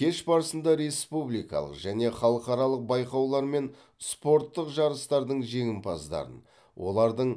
кеш барысында республикалық және халықаралық байқаулар мен спорттық жарыстардың жеңімпаздарын олардың